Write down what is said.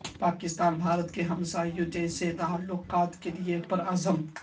پاکستان بھارت کے ساتھ ہمسایوں جیسے تعلقات کے لیے پرعزم